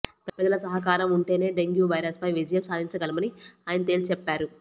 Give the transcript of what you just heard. ప్రజల సహకారం ఉంటేనే డెంగ్యూ వైరస్పై విజయం సాధించగలమని ఆయన తేల్చి చెప్పారు